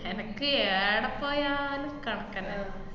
എനക്ക് ഏടെ പോയാലും കറക്കന്നെ.